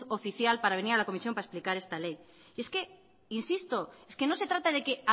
oficial para venir a la comisión para explicar esta ley es que insisto es que no se trata de que